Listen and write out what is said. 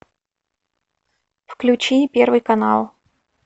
включи первый канал